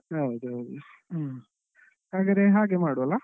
ಹೌದು ಹೌದು ಹ್ಮ್ ಹಾಗಾದ್ರೆ ಹಾಗೆ ಮಾಡ್ವ ಅಲ್ಲ?